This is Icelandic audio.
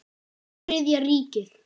Þriðja ríkið.